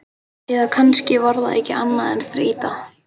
Eða kannski var það ekki annað en þreyta.